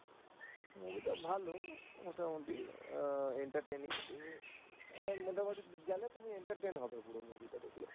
movie টা ভালো মোটামুটি entertaining তুমি মোটামুটি গেলে তুমি entertain হবে পুরো movie টা দেখলে।,